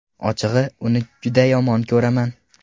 Ochig‘i, uni juda yomon ko‘raman.